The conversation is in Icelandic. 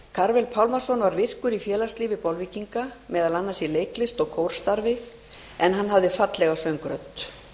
karvel pálmason var virkur í félagslífi bolvíkinga meðal annars í leiklist og kórstarfi en hann hafði fallega söngrödd